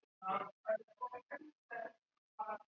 ਕੁੜੀਆਂ ਬਾਹਰ ਨੀ ਨਿਕਲ ਸਕਦੀਆਂ ਇਹ ਸਾਡੇ ਪੰਜਾਬ